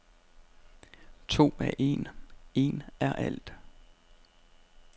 To er en, en er alt.